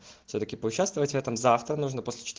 всё-таки поучаствовать в этом завтра нужно после четы